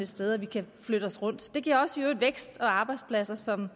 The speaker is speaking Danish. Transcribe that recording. sted at vi kan flytte os rundt det giver også vækst og arbejdspladser som